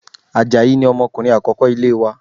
Àjàyí ni ọmọkùnrin akoko ilé wa